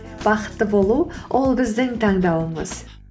бақытты болу ол біздің таңдауымыз